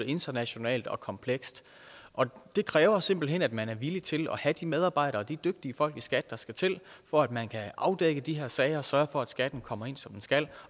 internationalt og komplekst og det kræver simpelt hen at man er villig til at have de medarbejdere og de dygtige folk i skat der skal til for at man kan afdække de her sager og sørge for at skatten kommer ind som den skal